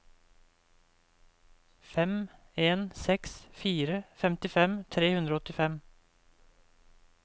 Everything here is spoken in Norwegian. fem en seks fire femtifem tre hundre og åttifem